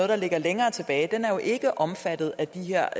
der ligger længere tilbage og den er jo ikke omfattet af de her